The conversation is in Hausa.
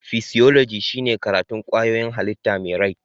Fisioloji shine karatun kwayoyin hallita mai rai